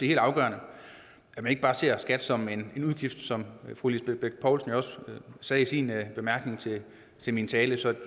helt afgørende at man ikke bare ser skat som en udgift som fru lisbeth bech poulsen jo også sagde i sin bemærkning til min tale så